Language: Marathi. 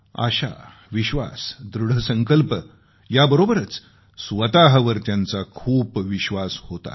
आशा विश्वास दृढसंकल्प याबरोबरच स्वतःवर त्यांचा खूप विश्वास होता